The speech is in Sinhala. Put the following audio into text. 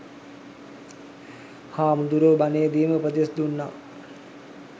හාමුදුරුවො බණේදිම උපදෙස් දුන්නා